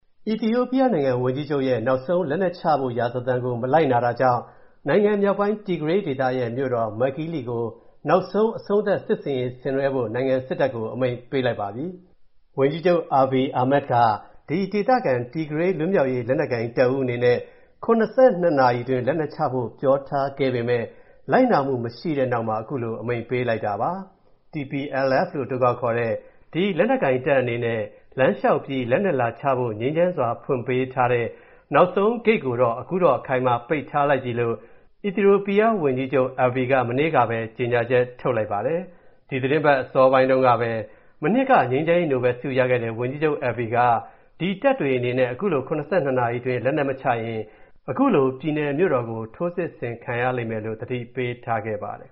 အီသီယိုပီးယားနိုင်ငံ ဝန်ကြီးချုပ်ရဲ့ နောက်ဆုံးလက်နက်ချဖို့ရာဇသံကို မလိုက်နာတာကြောင့်၊ နိုင်ငံမြောက်ပိုင်း Tigray ဒေသရဲ့ မြို.တော် Mekele ကို နောက်ဆုံးအဆုံးသတ် စစ်ဆင်ရေးဆင်နွှဲဖို့၊ နိုင်ငံစစ်တပ်ကို အမိန့်ပေးလိုက်ပါပြီ။ ဝန်ကြီးချုပ် Abiy Ahmed က၊ ဒီ ဒေသခံ Tigray လွတ်မြောက်ရေးလက်နက်ကိုင်တပ်ဦး အနေနဲ့ ၇၂ နာရီအတွင်းလက်နက်ချဖို့ ပြောထားးခဲ့ပေမဲ့၊ လိုက်နာမူမရှိတဲ့နောက်မှာ၊ ခုလို အမိန့်ပေးလိုက်တာပါ။ TPLF လို့အတိုခေါက်ခေါ်တဲ့ ဒီလက်နက်ကိုင်တပ်အနေနဲ့ လမ်းလျှောက်ပြီး လက်နက်လာချဖို့ ငြိမ်းချမ်းစွာဖွင့်ပေးထားတဲ့ နောက်ဆုံးဂိတ်ကို အခုတော့ အခိုင်အမာပိတ်ထားလိုက်ပြီလို့ အီသီယိုပီးသား ဝန်ကြီးချုပ် Abiy က မနေ့ကပဲ ကြေညာချက်ထုတ်လိုက်ပါတယ်။ ဒီသတင်းပတ်အစောပိုင်းတုံးကပဲ၊ မနှစ်က ငြိမ်းချမ်းရေးနိုဘယ်ဆုရခဲ့တဲ့ ဝန်ကြီးချုပ် Abiy က၊ ဒီ တပ်တွေအနေနဲ့ ခုလို ၇၂ နာရီအတွင်း လက်ကနက်မချရင်၊ ခုလို ပြည်နယ်မြို.တော် ထိုးစစ်ဆင်ခံရလိမ့်မယ်လို့ ပြောထားခဲ့ပါတယ်